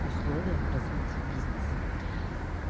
условием развития бизнеса